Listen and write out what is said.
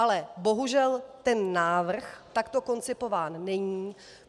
Ale bohužel, ten návrh takto koncipován není.